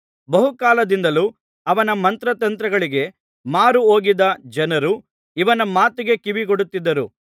ಬಹುಕಾಲದಿಂದಲೂ ಅವನ ಮಂತ್ರತಂತ್ರಗಳಿಗೆ ಮಾರುಹೋಗಿದ್ದ ಜನರು ಇವನ ಮಾತಿಗೆ ಕಿವಿಗೊಡುತ್ತಿದ್ದರು